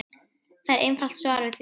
Það er einfalt svar við því.